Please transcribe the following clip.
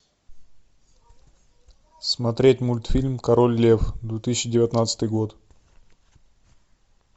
смотреть мультфильм король лев две тысячи девятнадцатый год